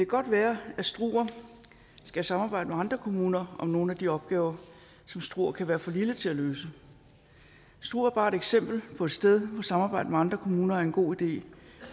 godt være at struer skal samarbejde med andre kommuner om nogle af de opgaver som struer kan være for lille til at løse struer er bare et eksempel på et sted hvor samarbejde med andre kommuner er en god idé